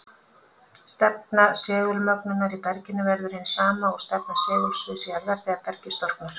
Stefna segulmögnunar í berginu verður hin sama og stefna segulsviðs jarðar þegar bergið storknar.